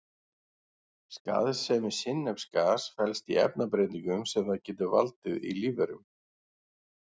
Skaðsemi sinnepsgass felst í efnabreytingum sem það getur valdið í lífverum.